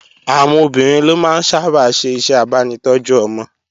Àwọn obìnrin ló máa ń sábà ṣe iṣẹ́ abánitọ́jú ọmọ